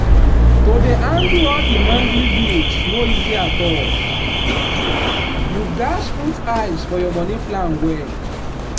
to dey handle all di monthly bills no easy at allyou gats put eye for your money plan well.